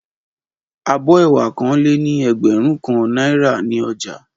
Abó̩ è̩wà kan lé ní e̩gbè̩rún kan náírà ní o̩jà